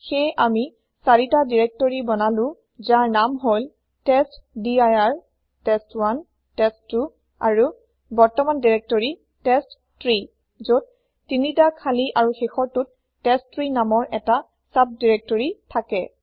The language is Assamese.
সেয়ে আমি ৪টা দিৰেক্তৰি বনালো যাৰ নাম হল টেষ্টডিৰ টেষ্ট1 টেষ্ট2 আৰু বৰ্তমান দিৰেক্তৰি টেষ্টট্ৰী যত ৩টা খালি আৰু শেষৰটোত টেষ্ট3 নামৰ ১টা চাব দিৰেক্তৰি থাকে